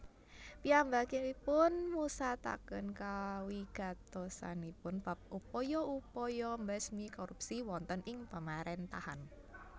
Piyambakipun musataken kawigatosanipun bab upaya upaya mbesmi korupsi wonten ing pamarèntahan